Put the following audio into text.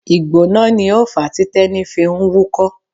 Ìgbóná ni ó fàá tí Tẹ́ní fi ń wúkọ́.